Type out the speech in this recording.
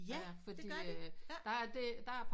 Ja det gør de ja